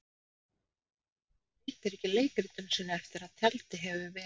Maður breytir ekki leikritinu sínu eftir að tjaldið hefur ver